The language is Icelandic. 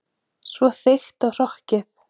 Svo þykkt og hrokkið.